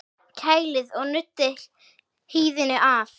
Kælið og nuddið hýðinu af.